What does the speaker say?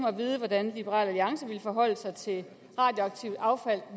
at vide hvordan liberal alliance ville forholde sig til radioaktivt affald